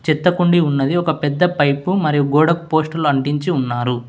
చెత్త కుండీ ఉన్నది ఒక పెద్ద పైపు మరియు గోడకు పోస్టులు అంటించి ఉన్నారు.